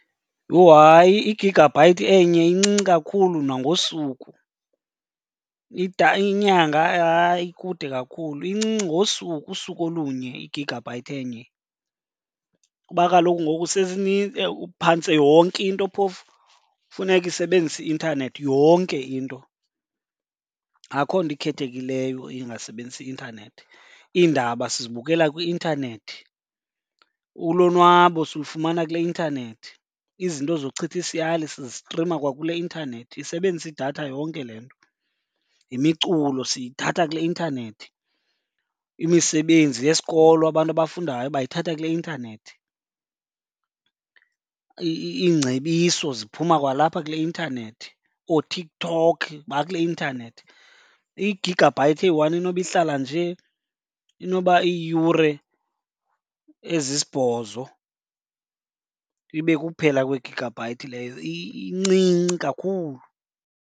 Yho! Hayi, i-gigabyte enye incinci kakhulu nangosuku, inyanga hayi ikude kakhulu. Incinci ngosuku, usuku olunye i-gigabyte enye kuba kaloku phantse yonke into phofu funeke isebenzise i-intanethi, yonke into. Akho nto ikhethekileyo engasebenzisi intanethi. Iindaba sizibukela kwi-intanethi, ulonwabo silufumana kule intanethi, izinto zochitha isiyali sizistrima kwakule intanethi, isebenzisa idatha yonke le nto. Yimiculo siyithatha kule intanethi, imisebenzi yesikolo abantu abafundayo bayithatha kule intanethi, iingcebiso ziphuma kwalapha kule intanethi, ooTikTok bakule intanethi. I-gigabyte eyi-one inoba ihlala nje inoba iiyure ezisibhozo ibe kukuphela kwe-gigabyte leyo, incinci kakhulu.